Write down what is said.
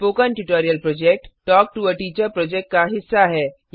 spoken tutorial project talk to a teacher project का हिस्सा है